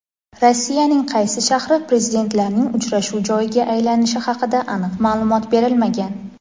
Rossiyaning qaysi shahri Prezidentlarning uchrashuv joyiga aylanishi haqida aniq ma’lumot berilmagan.